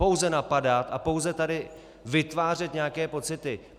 Pouze napadat a pouze tady vytvářet nějaké pocity.